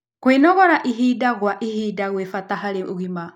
Kwĩnogora ĩhĩda gwa ĩhĩda nĩ gwa bata harĩ ũgima